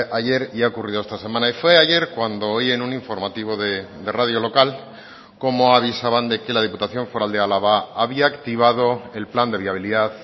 ayer y ha ocurrido esta semana y fue ayer cuando oí en un informativo de radio local cómo avisaban de que la diputación foral de álava había activado el plan de viabilidad